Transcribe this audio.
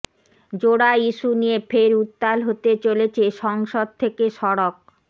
জোড়া ইস্যু নিয়ে ফের উত্তাল হতে চলেছে সংসদ থেকে সড়ক